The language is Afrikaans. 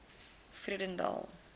vredendal